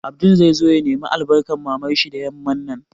Abdul zai zo ya nemi albarkan Mamar shi da yamman nan